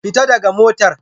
Fita daga motar